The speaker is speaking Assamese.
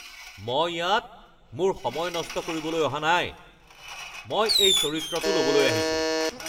মই ইয়াত মোৰ সময় নষ্ট কৰিবলৈ অহা নাই! মই এই চৰিত্ৰটো ল’বলৈ আহিছোঁ।